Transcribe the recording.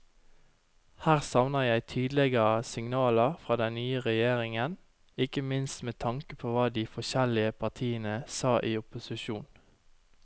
Her savner jeg tydeligere signaler fra den nye regjeringen, ikke minst med tanke på hva de forskjellige partiene sa i opposisjon.